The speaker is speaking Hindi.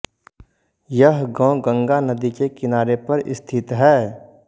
यह गांव गंगा नदी के किनारेपर स्थित है